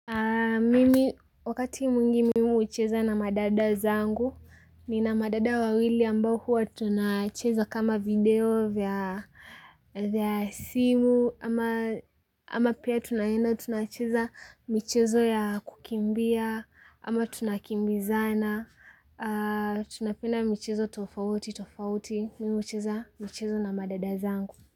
Mimi wakati mwingi mimi hucheza na madada zangu, nina madada wawili ambao huwa tunacheza kama video vya simu, ama pia tunaenda tunacheza michezo ya kukimbia, ama tunakimbizana tunapenda michezo tofauti tofauti, mimi hucheza michezo na madada zangu.